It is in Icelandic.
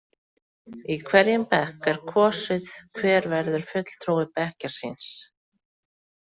Í hverjum bekk er kosið hver verður fulltrúi bekkjar síns.